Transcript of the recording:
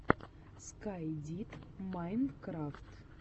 скай дид майнкрафт